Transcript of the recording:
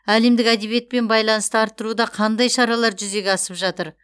әлемдік әдебиетпен байланысты арттыруда қандай шаралар жүзеге асып жатыр